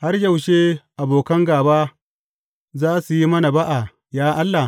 Har yaushe abokan gāba za su yi mana ba’a, ya Allah?